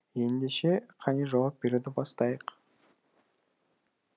ендеше қане жауап беруді бастайық